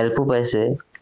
help ও পাইছে